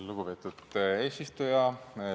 Lugupeetud eesistuja!